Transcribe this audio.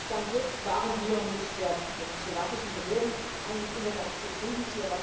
Bis jetzt waren wir mit den slowakischen Behörden eigentlich immer ganz zufrieden.